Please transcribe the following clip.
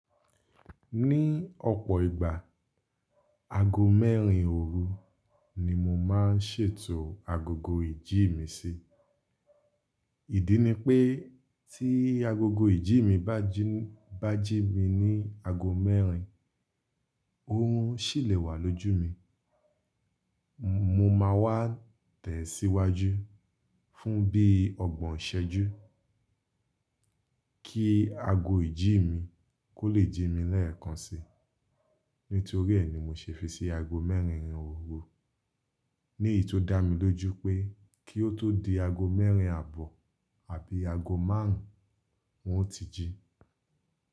Ní ọ̀pọ̀ ìgbà, ago mẹ́rin òru ni mo máa ń ṣètò agogo ìjí mi sí. Ìdí ni pé tí agogo ìjí mi bá jí, bá jí mi ní ago mẹ́rin, òrun sì lè wà lójú mi. Mo máa wá tẹ̀síwájú fún bí ọgbọ̀n iṣẹ́jú kí ago ìjí mi kó lè jí mi lẹ́ẹ̀kan si. Nítorí ẹ́ ni mo ṣe fi sí ago mẹ́rin òru. Ní èyí tó dá mi lójú pé kí ó tó di ago mẹ́rin àbọ̀ àbí ago márùn ún, ń ó ti jí.